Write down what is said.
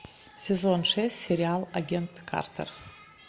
сезон шесть сериал агент картер